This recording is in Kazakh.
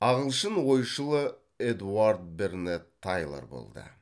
ағылшын ойшылы эдуард бернетт тайлор болды